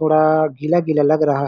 थोड़ा गीला-गीला लग रहा है।